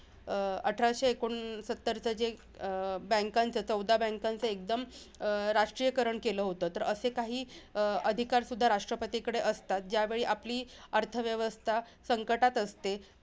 अं अठराशे एकोणसत्तरचा जे banks चे अं चौदा banks चे जे एकदम अं राष्ट्रीयकरण केलं होतं. तरअसे काही अधिकार सुद्धा राष्ट्रपतीकडे असतात. ज्यावेळी आपली अर्थव्यवस्था संकटात असते.